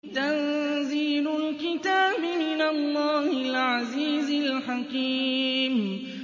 تَنزِيلُ الْكِتَابِ مِنَ اللَّهِ الْعَزِيزِ الْحَكِيمِ